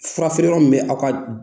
Fura feere yɔrɔ min bɛ aw ka